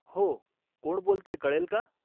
हो, कोण बोलतंय कळेल का?